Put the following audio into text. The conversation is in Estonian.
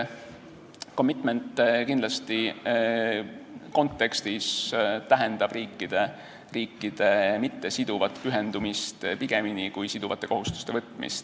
Commitment tähendab kontekstis pigem riikide mittesiduvat pühendumist kui siduvate kohustuste võtmist.